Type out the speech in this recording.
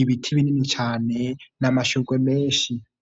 ibiti binini cane n' amashurwe menshi.